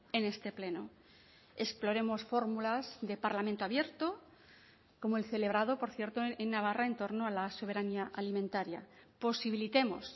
en este pleno exploremos fórmulas del parlamento abierto como el celebrado por cierto en navarra en torno a la soberanía alimentaria posibilitemos